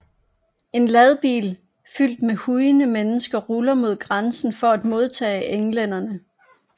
En ladbil fyldt med hujende mennesker ruller mod grænsen for at modtage englænderne